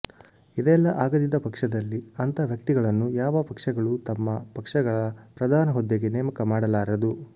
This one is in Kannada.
ಇದೆಲ್ಲಾ ಆಗದಿದ್ದ ಪಕ್ಷದಲ್ಲಿ ಅಂಥ ವ್ಯಕ್ತಿಗಳನ್ನು ಯಾವ ಪಕ್ಷಗಳೂ ತಮ್ಮ ಪಕ್ಷಗಳ ಪ್ರಧಾನ ಹುದ್ದೆಗೆ ನೇಮಕ ಮಾಡಲಾರದು